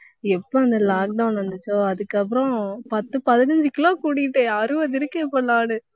எப்போ அந்த lockdown வந்துச்சோ அதுக்கப்புறம் பத்து, பதினஞ்சு kilo கூடிட்டேன் அறுபது இருக்கேன் இப்ப நானு